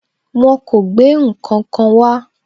Wọn kò gbé ǹkankan wá.